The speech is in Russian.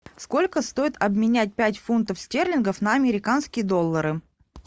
сколько стоит обменять пять фунтов стерлингов на американские доллары